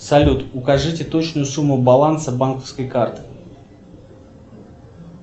салют укажите точную сумму баланса банковской карты